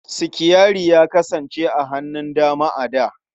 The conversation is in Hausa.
Sitiyari ya kasance a hannun dama a da.